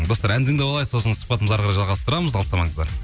достар ән тыңдап алайық сосын сұхбатымызды әрі қарай жалғасытрамыз алыстамаңыздар